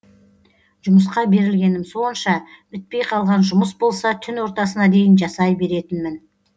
жұмысқа берілгенім сонша бітпей қалған жұмыс болса түн ортасына дейін жасай беретінмін